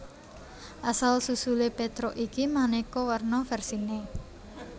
Asal susulé Petruk iki manéka warna vèrsiné